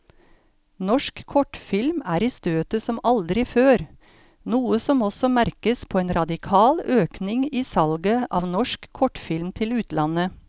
Norsk kortfilm er i støtet som aldri før, noe som også merkes på en radikal økning i salget av norsk kortfilm til utlandet.